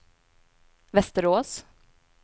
Västerås